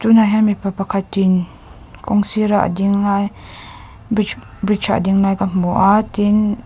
tunah hian mipa pakhatin kawng sira a ding lai bridge bridge a a ding lai ka hmu a tin --